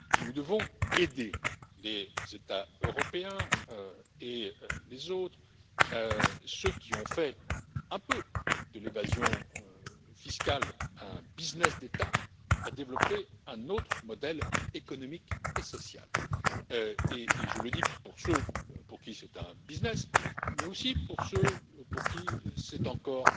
Nous devons aider les États européens et les autres, ceux qui ont fait un peu de l'évasion fiscale un business d'État, à développer un autre modèle économique et social, et je le dis pour ceux pour qui c'est un business, mais aussi pour ceux pour qui c'est encore